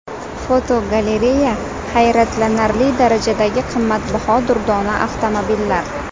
Fotogalereya: Hayratlanarli darajadagi qimmatbaho durdona avtomobillar.